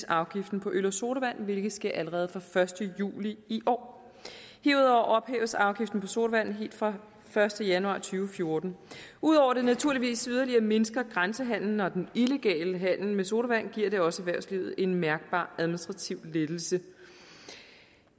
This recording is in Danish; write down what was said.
afgiften på øl og sodavand hvilket sker allerede fra første juli i år herudover ophæves afgiften på sodavand helt fra første januar to tusind og fjorten udover at det naturligvis yderligere mindsker grænsehandelen og den illegale handel med sodavand giver det også erhvervslivet en mærkbar administrativ lettelse